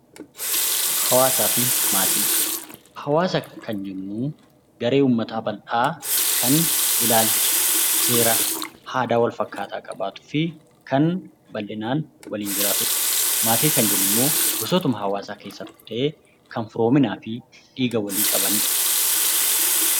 Hawaasa fi maatii. Hawaasa kan jennu garee uummataa bal'dhaa kan ilaalcha seera aadaa wal fakkaataa qabaatuufii kan bal'dhinaan waliin jiraatudha maatii kan jennu immoo kan firoominaafii dhiiga walii qabanidha.